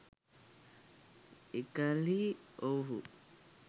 එකල්හි ඔවුුහු